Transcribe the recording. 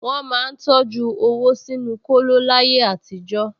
Wọ́n máa ń tọjú owó sínú kóló láyé àtijọ́